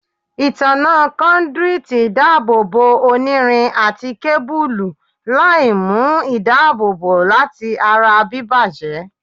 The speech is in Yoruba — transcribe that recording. Itanna conduits dabobo onirin ati kebulu, laimu Idaabobo lati ara bibajẹ